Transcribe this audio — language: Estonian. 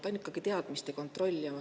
Ta on ikkagi teadmiste kontroll.